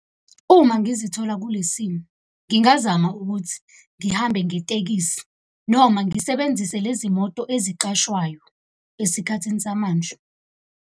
Uma ngizithola kulesimo ngingazama ukuthi ngihambe ngetekisi noma ngisebenzise lezi moto eziqashwayo esikhathini samanje.